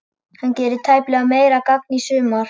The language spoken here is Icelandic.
Hann gerir tæplega meira gagn í sumar.